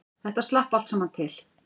Þetta slapp allt saman til